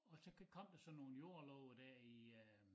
Og så kom der så nogen jordlove dér i øh